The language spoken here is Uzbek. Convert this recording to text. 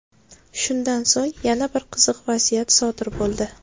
Shundan so‘ng yana bir qiziq vaziyat sodir bo‘ldi.